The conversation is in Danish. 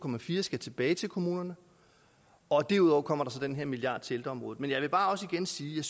skal tilbage til kommunerne og derudover kommer der så den her milliard til ældreområdet men jeg vil også bare igen sige at